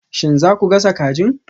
Shin za ku gasa kajin?